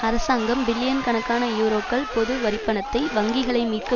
அரசாங்கம் பில்லியன் கணக்கான யூரோக்கள் பொது வரிப்பணத்தை வங்கிகளை மீட்க